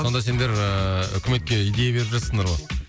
сонда сендер ыыы үкіметке идея беріп жатырсыңдар ғой